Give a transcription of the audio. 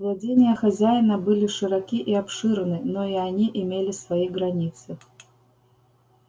владения хозяина были широки и обширны но и они имели свои границы